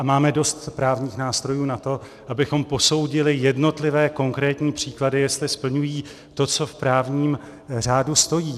A máme dost právních nástrojů na to, abychom posoudili jednotlivé konkrétní příklady, jestli splňují to, co v právním řádu stojí.